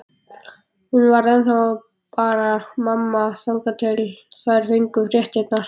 Hún var ennþá bara mamma, þangað til þær fengju fréttirnar.